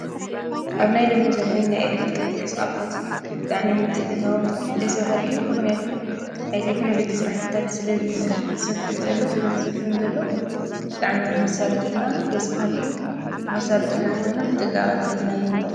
አብ ናይ ሎሚ ዘመን ናይ ኤሌክትሮኒክ አቑሑት ብጣዕሚ ምትእትታዎም ደስ በሃሊ እዩ፡፡ ምክንያቱም ናይ ቴክኖሎጂ ስራሕቲታት ስለ ዝሰፍሕ ዘሎ ስለ ዝሰፍን ዘሎ ብጣዕሚ ንከሳልጡልና ደስ በሃሊ እዩ፡፡ ንከሳልጡልና ተኾይኖም ብጥንቃቀ እንተሒዝናዮም እዩ፡፡